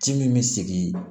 Ci min bɛ sigi